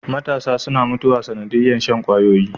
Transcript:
Matasa suna mutuwa sanadiyar Shan kwayoyi